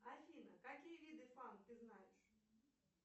афина какие виды фант ты знаешь